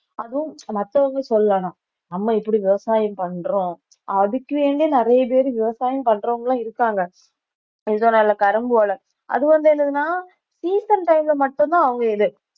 அதுவும் மத்தவங்க சொல்லலாம் நம்ம இப்படி விவசாயம் பண்றோம் அதுக்கு வேண்டியே நிறைய பேரு விவசாயம் பண்றவங்களும் இருக்காங்க அது வந்து என்னதுன்னா season time ல மட்டும்தான் அவங்க இது